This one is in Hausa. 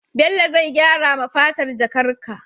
Bello zai gyara ma fatar jakar ka